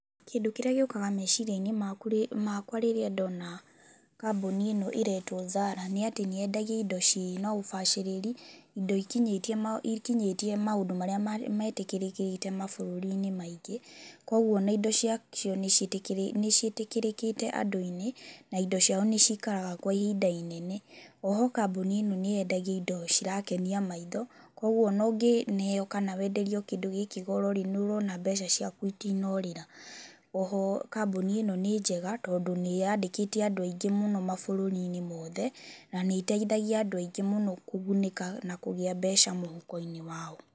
Kĩndũ kĩrĩa gĩũkaga meciria-inĩ makwa rĩrĩa ndona kambuni ĩno ĩretwo ZARA, nĩ atĩ nĩyendagia indo cirĩ na ũbacĩrĩri indo ikinyĩtie maũndũ marĩa metĩkĩrĩkĩte mabũrũri-inĩ maingĩ. Koguo ona indo cia cio nĩciĩtĩkĩrĩkĩte andũ-inĩ na indo ciao nĩcikaraga kwa ihinda inene. O ho kambuni ĩno nĩyendagia indo cirakenia maitho, koguo ona ũngĩneo kana wenderio kĩndũ kĩu goro nĩũrona mbeca ciaku itinorĩra. O ho kambuni ĩno nĩ njega, tondũ nĩyandĩkĩte andũ aingĩ mũno mabũrũri-inĩ mothe na nĩĩteithagia andũ aingĩ mũno kũgunĩka na kũgĩa mbeca mũhuko-inĩ wao.